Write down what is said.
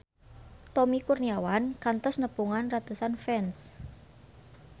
Tommy Kurniawan kantos nepungan ratusan fans